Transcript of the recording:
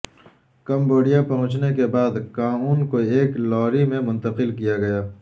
Cambodia پہچنچنے کے بعد کاون کو ایک لاری میں منتقل کیا گیا